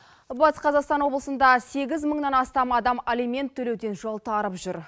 батыс қазақстан облысында сегіз мыңнан астам адам алимент төлеуден жалтарып жүр